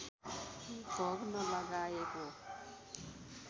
भोग नलगाएको